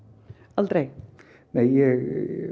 aldrei nei ég